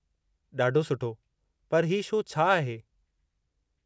ॾाढो सुठो! पर हीउ शो छा आहे?